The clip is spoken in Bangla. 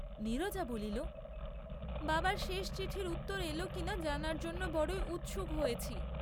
নীরজা বলিল বাবার শেষ চিঠির উত্তর এল কি না জানার জন্য বড়ই উৎসুক হয়েছি।